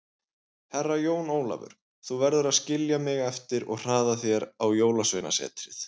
Herra Jón Ólafur, þú verður að skilja mig eftir og hraða þér á Jólasveinasetrið.